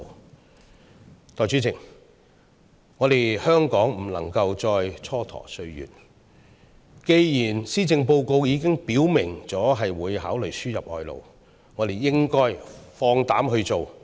代理主席，香港不能夠再蹉跎歲月了，既然施政報告已經表明會考慮輸入外勞，我們便應該放膽去做。